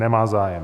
Nemá zájem.